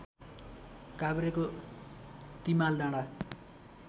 काभ्रेको Timaldanda